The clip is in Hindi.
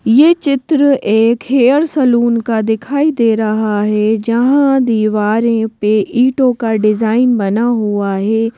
यह चित्र एक हेयर सलून का दिखाई दे रहा है जहां दीवारों पे ईंटों का डिजाइन बना हुआ है।